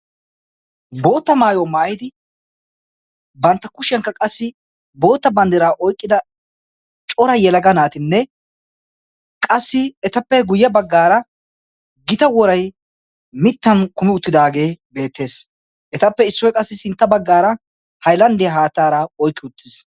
bootta maayo maayidi bantta kushiyankka qassi bootta banddiraa oiqqida cora yelaga naatinne qassi etappe guyye baggaara gita worai mittan kumi uttidaagee beettees etappe issoi qassi sintta baggaara hailanddiyaa haattaara oiqki uttiis